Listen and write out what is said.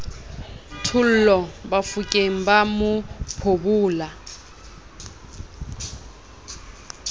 thollo bafokeng ba mo phobola